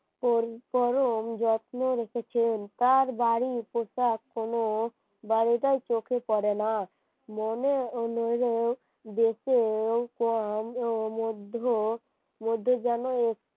phone করো ওম যত্ন তার বাড়ি কোথায় কোন বাড়িটাও চোখে পড়ে না মনে অন্য মধ্য মধ্যে যেন